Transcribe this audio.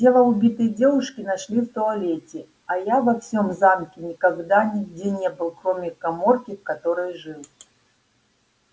тело убитой девушки нашли в туалете а я во всём замке никогда нигде не был кроме каморки в которой жил